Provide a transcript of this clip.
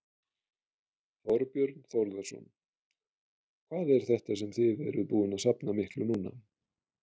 Þorbjörn Þórðarson: Hvað er þetta sem þið eruð búin að safna miklu núna?